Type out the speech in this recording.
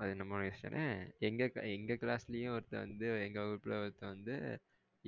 அது நமளோட இஷ்டம் எங்க class ல ஒருத்தன் வந்து எங்களோட வகுப்புல ஒருத்தன் வந்து